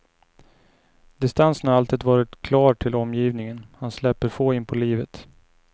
Distansen har alltid varit klar till omgivningen, han släpper få inpå livet.